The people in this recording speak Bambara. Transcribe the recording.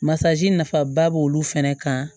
Masazi nafaba b'olu fɛnɛ kan